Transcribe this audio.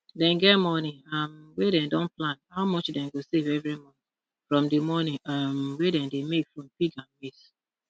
dem get money um wey dem don plan how much dem go save every month from di money um wey dem dey make from pig and maize